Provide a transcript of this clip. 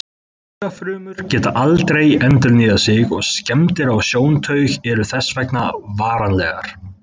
Taugafrumur geta aldrei endurnýjað sig og skemmdir á sjóntaug eru þess vegna varanlegar.